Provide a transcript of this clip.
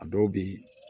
A dɔw bɛ